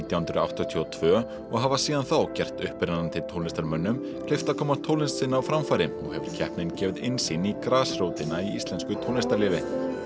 hundruð áttatíu og tvö og hafa síðan þá gert upprennandi tónlistarmönnum kleift að koma tónlist sinni á framfæri og hefur keppnin gefið innsýn í grasrótina í íslensku tónlistarlífi